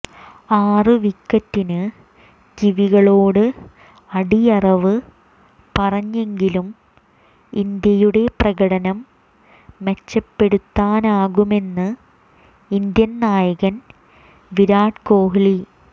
ആറ് വിക്കറ്റിന് കിവികളോട് അടിയറവ് പറഞ്ഞെങ്കിലും ഇന്ത്യയുടെ പ്രകടനം മെച്ചപ്പെടുത്താനാകുമെന്ന് ഇന്ത്യൻ നായകൻ വിരാട് കോഹ്ലി